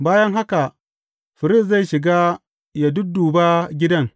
Bayan haka firist zai shiga ya dudduba gidan.